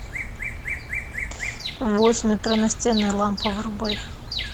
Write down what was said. в восемь утра настенная лампа вырубай